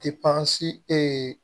ye